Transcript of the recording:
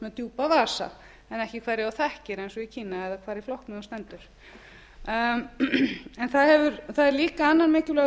með djúpa vasa en ekki hverja þú þekkir eins og í kína eða hvar í flokknum þú stendur það er líka annar mikilvægur